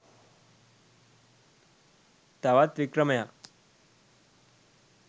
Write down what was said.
තවත් වික්‍රමයක්